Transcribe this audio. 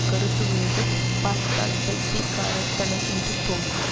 கருத்துவேது பார்த்தால் பைத்தியயக்காரத்தனம் என்று தோன்றும்